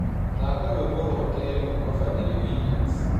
thaka rwĩmbo rwa kerĩ kũma fadhili Williams